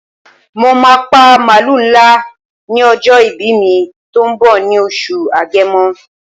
Mo máà pa màlúù ńlá ní ọjọ́ ìbí mi tó ń bọ̀ ní oṣù Agẹmọ.